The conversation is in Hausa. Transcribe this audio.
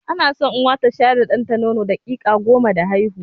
Ana so Uwa ta shayar da ɗanta nono daƙiƙa goma da haihuwa.